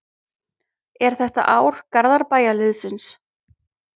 Er þetta ár Garðabæjarliðsins?